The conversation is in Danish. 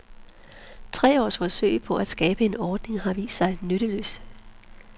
Tre års forsøg på at skabe en ordning har vist sig nytteløse.